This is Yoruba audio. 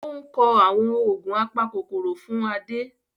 Ó ń kọ àwọn oògùn apakòkòrò fún Adé